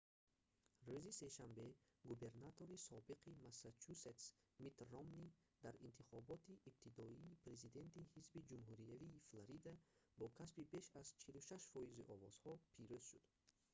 рӯзи сешанбе губернатори собиқи массачусетс митт ромнӣ дар интихоботи ибтидоии президентии ҳизби ҷумҳуриявии флорида бо касби беш аз 46 фоизи овозҳо пирӯз шуд